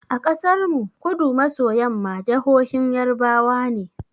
A ƙasar mu, Kudu maso yamma jahohin yarbawa ne.